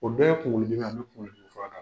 O bɛɛ ye kuŋolo dimi ye, an be kuŋolo dimi fura d'a